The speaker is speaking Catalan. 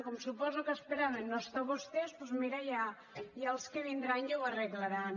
com suposo que esperaven no estar vostès doncs mira ja els que vindran ja ho arreglaran